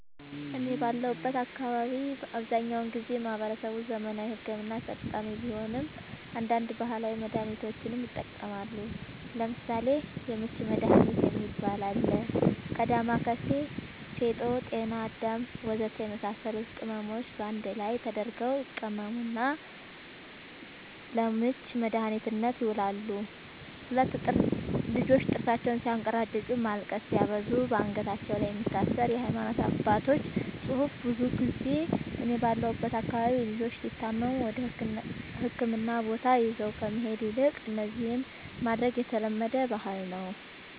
እኔ ባለሁበት አካባቢ አብዛኛውን ጊዜ ማህበረሰቡ ዘመናዊ ሕክምና ተጠቃሚ ቢሆንም አንዳንድ ባህላዊ መድሃኒቶችንም ይጠቀማሉ ለምሳሌ:- የምች መድሃኒት የሚባል አለ ከ ዳማከሲ ፌጦ ጤናአዳም ወዘተ የመሳሰሉት ቅመሞች ባንድ ላይ ተደርገው ይቀመሙና ለምች መድኃኒትነት ይውላሉ 2, ልጆች ጥርሳቸውን ስያንከራጭጩ ማልቀስ ሲያበዙ ባንገታቸው ላይ የሚታሰር የሃይማኖት አባቶች ፅሁፍ ብዙ ጊዜ እኔ ባለሁበት አካባቢ ልጆች ሲታመሙ ወደህክምና ቦታ ይዞ ከመሄድ ይልቅ እነዚህን ማድረግ የተለመደ ባህል ነዉ